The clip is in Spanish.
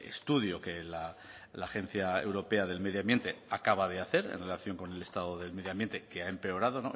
estudio que la agencia europea del medio ambiente acaba de hacer en relación con el estado del medio ambiente que ha empeorado